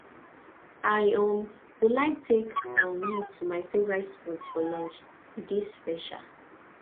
i um go like take um you to my favorite spot for lunch e dey special